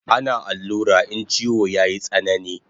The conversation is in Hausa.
Ana allura in chiwo yayi tsanani